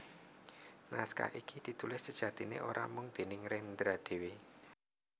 Naskah iki ditulis sejatiné ora mung déning Rendra dhéwé